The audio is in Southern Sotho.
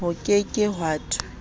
ho ke ke ha thwe